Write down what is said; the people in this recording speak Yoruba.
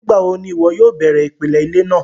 Nígbàwọ̀ ni iwọ yóò bẹ̀rẹ̀ ipilẹ̀ ilẹ̀ náà?